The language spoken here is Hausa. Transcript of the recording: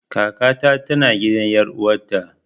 Kaka ta tana gidan ƴar uwata